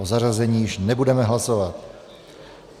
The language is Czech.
O zařazení již nebudeme hlasovat.